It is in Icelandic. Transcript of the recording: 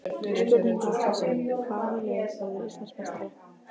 Spurning dagsins er: Hvaða lið verður Íslandsmeistari?